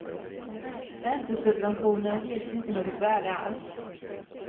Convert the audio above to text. Räntesubventionerna ges inte något värde alls.